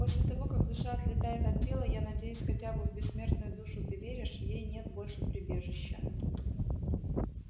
после того как душа отлетает от тела я надеюсь хотя бы в бессмертную душу ты веришь ей нет больше прибежища